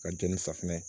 Ka jɛn ni safunɛ ye